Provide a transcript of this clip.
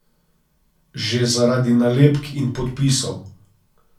Že zaradi nalepk in podpisov.